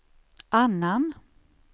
annan